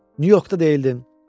Nyu-Yorkda deyildin?